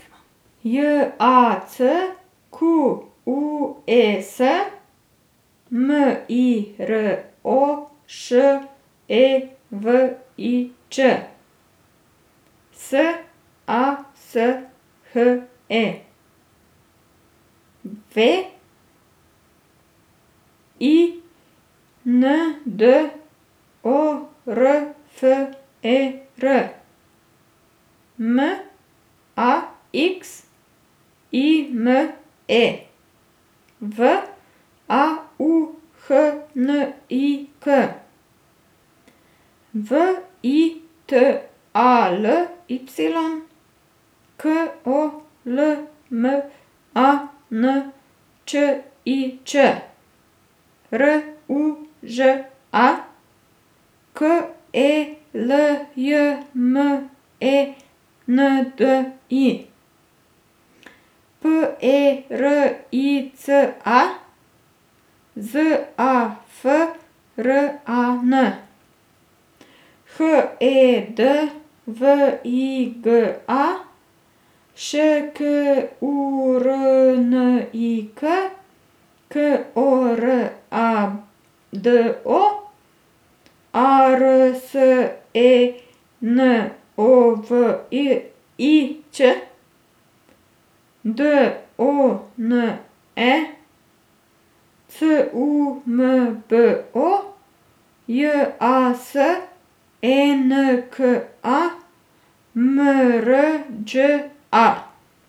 J A C Q U E S, M I R O Š E V I Č; S A S H E, W E I N D O R F E R; M A X I M E, V A U H N I K; V I T A L Y, K O L M A N Č I Č; R U Ž A, K E L J M E N D I; P E R I C A, Z A F R A N; H E D V I G A, Š K U R N I K; K O R A D O, A R S E N O V I I Ć; D O N E, C U M B O; J A S E N K A, M R Đ A.